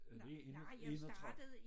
Er det én og 31